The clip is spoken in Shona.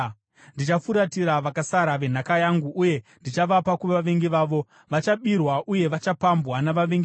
Ndichafuratira vakasara venhaka yangu uye ndichavapa kuvavengi vavo. Vachabirwa uye vachapambwa navavengi vavo,